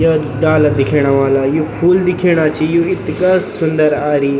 या डाला दिखेणा वाला यु फूल दिखेणा छी यु इथगा सुन्दर आरी।